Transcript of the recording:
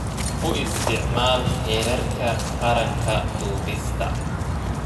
U isticmaal heerarka qaranka duubista.